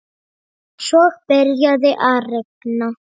Svo byrjaði að rigna.